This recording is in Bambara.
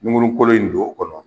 Nunkuru kolo in don o kɔnɔ